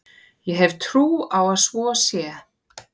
Ég hef trú á að svo sé.